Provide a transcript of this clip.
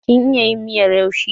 Kin iya yin miyar yaushe?